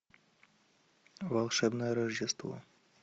волшебное рождество